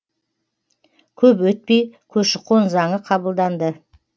көп өтпей көші қон заңы қабылданды